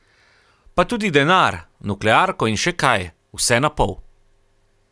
Pa tudi denar, nuklearko in še kaj, vse na pol.